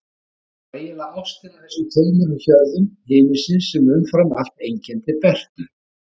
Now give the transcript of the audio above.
Það var eiginlega ástin á þessum tveimur hjörðum himinsins sem umfram allt einkenndi Bertu.